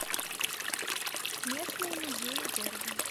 местные музеи города